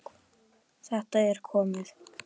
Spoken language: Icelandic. Þetta er komið!